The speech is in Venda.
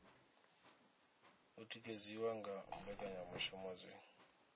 o tikedziwa nga mbekanyamushumo dzi